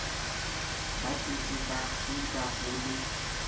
batswetse ba kgiba ho le